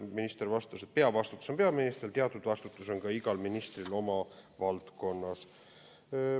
Minister vastas, et peavastutus on peaministril ja teatud vastutus on igal ministril oma valdkonnas.